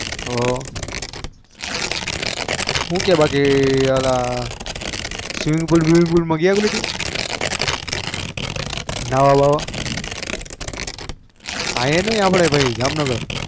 હ બાકી હુકે ભાઈ swimming pool માંગયા નવા બાવા એ નઈ અપડા ભાઈ જામ નાગર માં